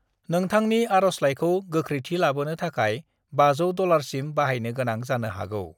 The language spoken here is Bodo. नोंथांनि आर'जलाइखौ गौख्रैथि लाबोनो थाखाय 500 डलारसिम बाहायनो गोनां जानो हागौ।